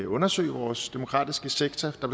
undersøge vores demokratiske sektor der